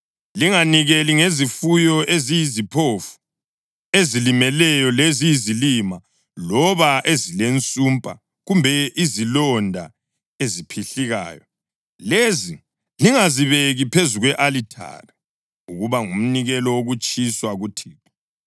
Linganikeli ngezifuyo eziyiziphofu, ezilimeleyo, leziyizilima, loba ezilensumpa kumbe izilonda eziphihlikayo. Lezi lingazibeki phezu kwe-alithari ukuba ngumnikelo wokutshiswa kuThixo.